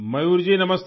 मयूर जी नमस्ते